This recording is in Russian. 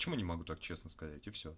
почему не могу так честно сказать и все